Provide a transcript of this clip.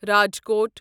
Rajkot